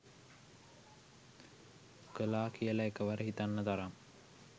කළා කියලා එකවර හිතන්න තරම්